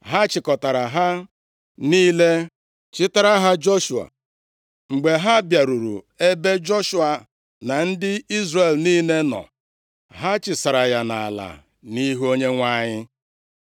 Ha chịkọtara ha niile chịtara ha Joshua. Mgbe ha bịaruru ebe Joshua na ndị Izrel niile nọ, ha chịsara ya nʼala nʼihu Onyenwe anyị.